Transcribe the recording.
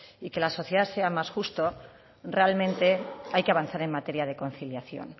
y que la sociedad sea más justa realmente hay que avanzar en materia de conciliación